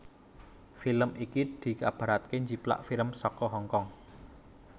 Film iki dikabarake njiplak film saka Hong Kong